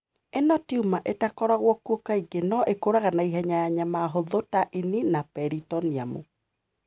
Ĩno tiuma ĩtakoragũo kuo kaingĩ no ĩkũraga na ihenya ya nyama hũthũ ta ĩni na peritoneum.